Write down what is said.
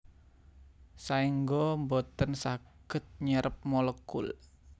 Saéngga boten saged nyerep molekul